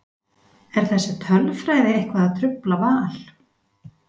Er þessi tölfræði eitthvað að trufla Val?